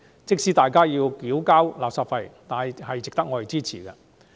即使大家要繳交垃圾費，也應支持該法案。